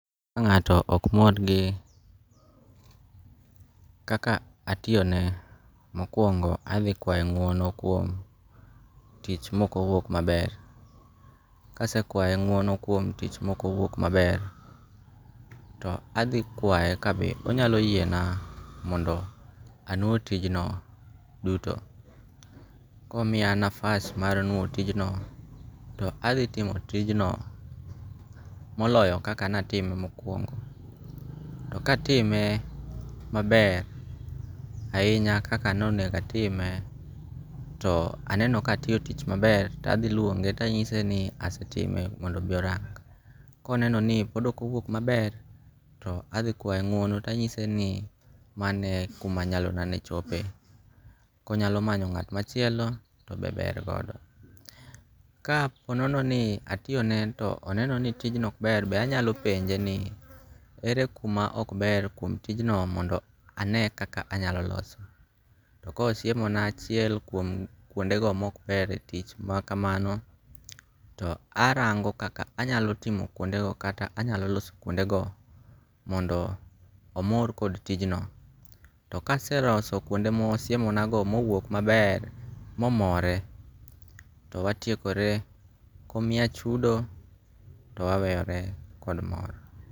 Ka nga'to ok mor gi kaka atiyone mokuongo' athi kwaye ngu'one kuom tich ma oko wuok maber, kasekwaye ngu'ono kuom tich ma okowuok maber to athi kwaye ka be onyalo yiena mondo anwo tijno duto komiya nafas mar nwo tijno to athi timo tijno moloyo kaka natime mokuongo', to katime maber ahinya kaka ne onego atime to aneno ka atiyo tich maber to athi luonge to anyise ni asetime mondo obi orangi' koneno ni pod okowuok maber to athikwaye ngu'ono to anyise ni mano e kuma nyalona ne chope konyalo manyo nga't machielo to be ber godo. Ka ponono ni atiyone to oneno ni tijno ok ber be anyalo penje ni ere kuma ok ber kuom tijno mondo ane kaka anyalo loso, kosiemona achiel kuom kwondego ma ok ber kuom tich makakamano to arango' kaka anyalo timo kuondego kata anyalo loso kuondego mondo omor kod tijno ,to kase loso kuonde ma osiemonagono mouok maber momore to watiekore omiya chudo to waweyore kod mor.